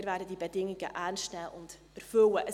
Wir werden diese Bedingungen ernst nehmen und erfüllen.